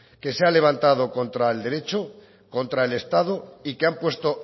que se ha levantado contra el derecho contra el estado y que han puesto